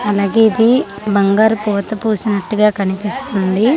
అలాగే ఇది బంగారు పూత పూసినటుగా కనిపిస్తుంది .